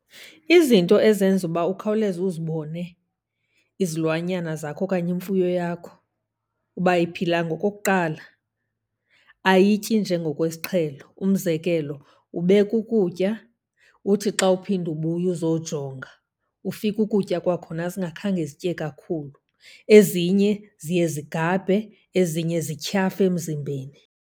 Izinto ezenza uba ukhawuleze uzibone izilwanyana zakho okanye imfuyo yakho uba ayiphilanga, okokuqala ayityi njengokwesiqhelo. Umzekelo, ubeka ukutya uthi xa uphinda ubuya uzojonga, ufike ukutya kwakhona zingakhange zitye kakhulu. Ezinye ziye zigabhe, ezinye zityhafe emzimbeni.